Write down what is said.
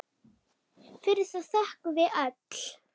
Fyrir það þökkum við öll.